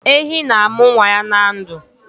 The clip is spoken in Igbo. Ehi na-amụ nwa ya na ndụ